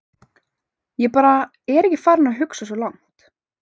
Ég bara er ekki farinn að hugsa svo langt.